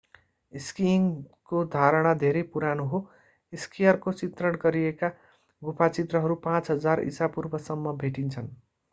स्कीइङको धारण धेरै पुरानो हो स्कीयरको चित्रण गरिएका गुफा चित्रहरू 5000 ईसापूर्वसम्मका भेटिन्छन्